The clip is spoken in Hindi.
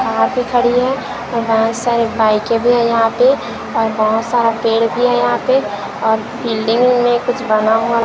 जहां पे खड़ी हूं बहोत सारे बाईकें भी हैं यहां पे और बहोत सारा पेड़ भी है यहां पे और बिल्डिंग में कुछ बना हुआ--